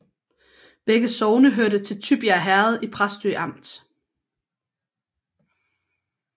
Begge sogne hørte til Tybjerg Herred i Præstø Amt